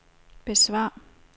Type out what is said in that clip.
besvar